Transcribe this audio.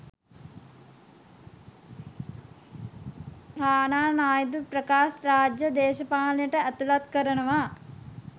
රානා නායිදු ප්‍රකාශ් රාජ්ව දේශපාලනයට ඇතුලත් කරනවා.